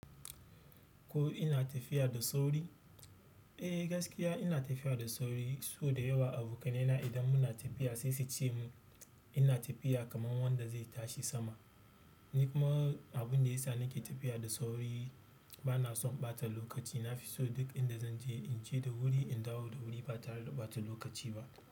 Ko ina tafiya da sauri? Eh gaskiya ina tafiya da sauri, so da yawa abokaina idan muna tafiya sai su ce min ina tafiya kaman wanda zai tashi sama. Nikuma abin da ya sa nake tafiya da sauri bana son ɓata lokaci. Nafiso duk inda zan je in je da wuri, in dawo da wuri ba tare da ɓata lokaci ba.